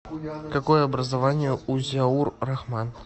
какое образование у зиаур рахман